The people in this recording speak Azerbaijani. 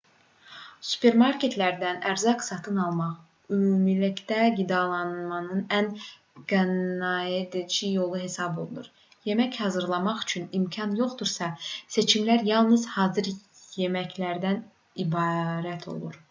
supermarketlərdən ərzaq satın almaq ümumilikdə qidalanmanın ən qənaətcil yolu hesab olunur yemək hazırlamaq üçün imkan yoxdursa seçimlər yalnız hazır yeməklərdən ibarət olur